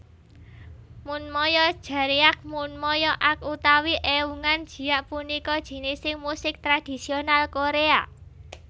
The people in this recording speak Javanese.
Munmyo Jeryeak Munmyo ak utawi Eungan jiak punika jinising musik tradisional Korea